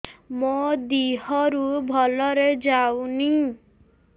ମୋ ଦିହରୁ ଭଲରେ ଯାଉନି